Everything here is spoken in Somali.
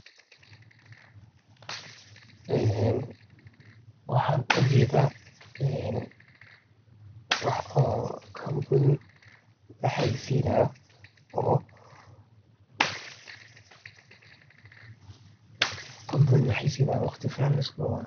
Een waxan ujedha een wax oo kambuuni laxayeysinayo oo waqti fican.